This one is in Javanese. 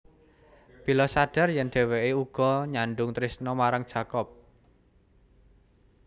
Bella sadhar yèn dhéwéké uga nyadhung trésna marang Jacob